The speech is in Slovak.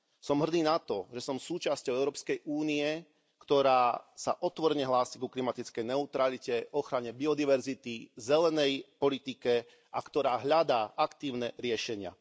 Som hrdý na to, že som súčasťou Európskej únie, ktorá sa otvorene hlási ku klimatickej neutralite, ochrane biodiverzity, zelenej politike a ktorá hľadá aktívne riešenia.